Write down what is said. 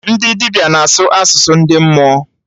Ndị dibịa na-asụ asụsụ ndị mmụọ